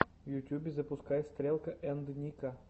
в ютьюбе запускай стрелка энд ника